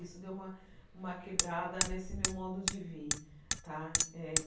Isso deu uma uma quebrada nesse meu modo de ver tá eh.